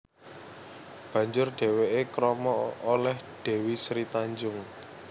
Banjur dhèwèké krama olèh Dèwi Sri Tanjung